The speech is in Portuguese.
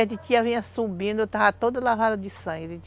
Aí a titia vinha subindo, eu estava toda lavada de sangue.